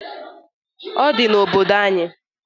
Odi n'obodo anyị.